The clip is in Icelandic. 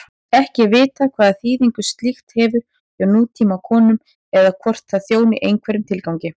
Ekki er vitað hvaða þýðingu slíkt hefur hjá nútímakonum eða hvort það þjóni einhverjum tilgangi.